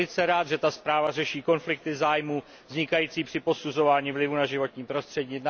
Jsem velice rád, že ta zpráva řeší střety zájmů vznikající při posuzování vlivu na životní prostředí.